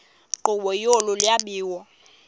nkqubo yolu lwabiwo